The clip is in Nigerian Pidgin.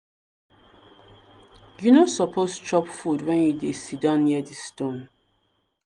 you no suppose chop food when you dey siddon near di stone.